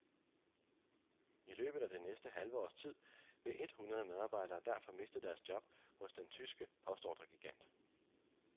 I løbet af det næste halve års tid vil et hundrede medarbejdere derfor miste deres job hos den tyske postordregigant.